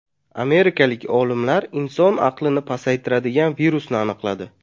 Amerikalik olimlar inson aqlini pasaytiradigan virusni aniqladi.